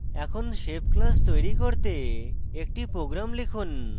এখন shape class তৈরী করতে একটি program লিখুন